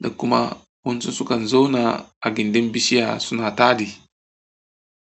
da kuma wasu sukan zauna a gindin bishiya suna taɗi.